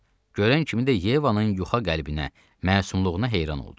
Görən kimi də Yevanın yuxa qəlbinə, məsumluğuna heyran oldu.